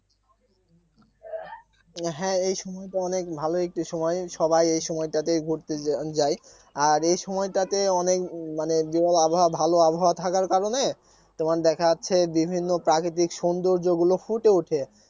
হ্যাঁ এইসময় তো অনেক ভালো একটি সময় সবাই এই সময়টাতে ঘুরতে যায় আর এই সময়টাতে অনেক মানে বিরল আবহাওয়া ভালো আবহাওয়া থাকার কারণে তোমার দেখা যাচ্ছে বিভিন্ন প্রাকৃতিক সৌন্দর্যগুলো ফুটে উঠে